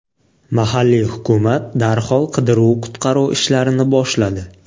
Mahalliy hukumat darhol qidiruv-qutqaruv ishlarini boshladi.